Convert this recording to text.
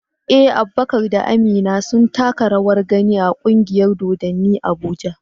Eh, Abubakar da Amina sun taka rawar gani a kungiyar dodanni Abuja.